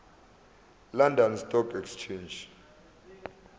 london stock exchange